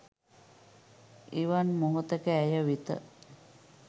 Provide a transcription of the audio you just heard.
එවන් මොහොතක ඇය වෙත